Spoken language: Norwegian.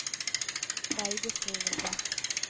veibeskrivelse